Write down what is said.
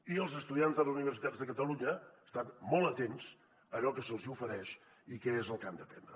i els estudiants de les universitats de catalunya estan molt atents a allò que se’ls hi ofereix i què és el que han d’aprendre